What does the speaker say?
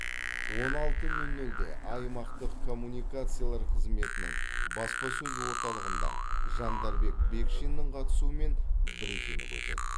он алты нөл нөлде аймақтық коммуникациялар қызметінің баспасөз орталығында жандарбек бекшиннің қатысуымен брифинг өтеді